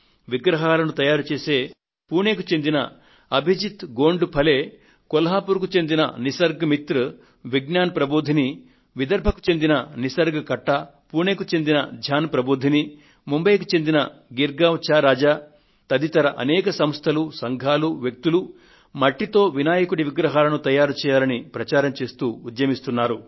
విగ్రహాలను తయారుచేసే పుణెకు చెందిన అభిజిత్ గోంఢే ఫలే ధ్యాన్ ప్రబోధిని కొల్హాపూర్ కు చెందిన నిసర్గ్ మిత్ర్ విజ్ఞాన్ ప్రబోధిని విదర్భకు చెందిన నిసర్గ్ కట్టా ముంబయ్ కు చెందిన గిర్గావ్ చా రాజా తదితర అనేక సంస్థలు సంఘాలు వ్యక్తులు మట్టితో వినాయకుడి విగ్రహాలను తయారు చేయాలని ప్రచారం చేస్తూ ఉద్యమిస్తున్నారు